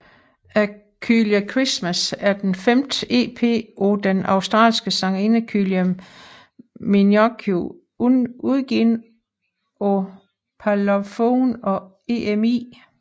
A Kylie Christmas er den femte EP af den australske sangerinde Kylie Minogue udgivet af Parlophone og EMI